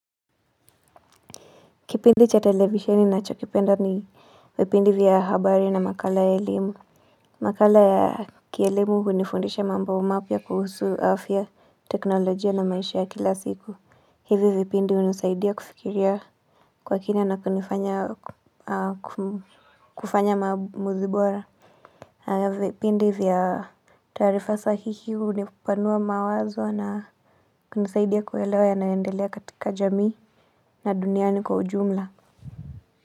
Kipindi cha televisheni ninachokipenda ni vipindi vya habari na makala ya elimu. Makala ya kielimu hunifundisha mambo mapya kuhusu afya teknolojia na maisha ya kila siku. Hivi vipindi hunisaidia kufikiria kwa kina na kunifanya kufanya maamuzi bora. Vipindi vya taarifa sahihi hunipanua mawazo na kunisaidia kuelewa yanayoendelea katika jamii na duniani kwa ujumla.